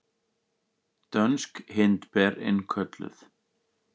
Dönsk hindber innkölluð